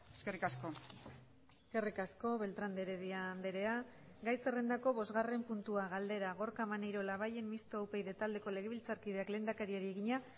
eskerrik asko eskerrik asko beltrán de heredia andrea gai zerrendako bosgarren puntua galdera gorka maneiro labayen mistoa upyd taldeko legebiltzarkideak lehendakariari egina